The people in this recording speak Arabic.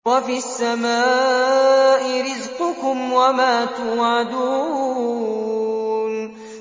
وَفِي السَّمَاءِ رِزْقُكُمْ وَمَا تُوعَدُونَ